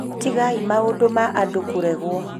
tigai maũndũ ma andũ kũregwo